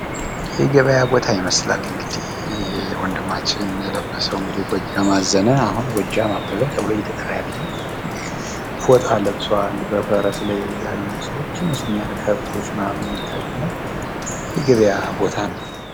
የገበያ ቦታ ይመስላል። ወንድማችን ጎጃም አዘነ ፎጣ ለብሶ እናያለን። ይህም አሁን ጎጃም አበበ እየተባለ ይጠራል ።ከብቶችም ይታያሉ።